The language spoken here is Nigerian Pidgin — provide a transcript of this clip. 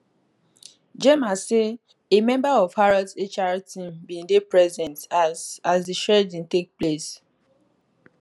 gemma say a member of harrods hr team bin dey present as as di shredding take place